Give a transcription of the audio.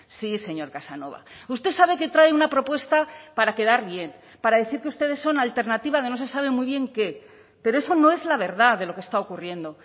sí señor casanova usted sabe que trae una propuesta para quedar bien para decir que ustedes son alternativa de no se sabe muy bien qué pero eso no es la verdad de lo que está ocurriendo